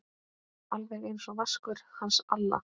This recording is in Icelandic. Alveg einsog Vaskur hans Alla?